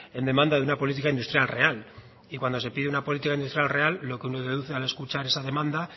en demanda de una política industrial real y cuando se pide una política industrial real lo que uno deduce al escuchar esa demanda